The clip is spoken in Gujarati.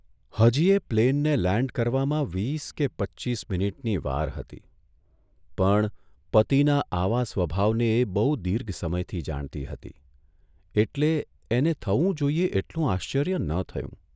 હજીયે પ્લેનને લેન્ડ કરવામાં વીસ કે પચ્ચીસ મિનિટની વાર હતી પણ પતિના આવા સ્વભાવને એ બહુ દીર્ઘ સમયથી જાણતી હતી એટલે એને થવું જોઇએ એટલું આશ્ચર્ય ન થયું.